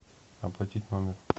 оплатить номер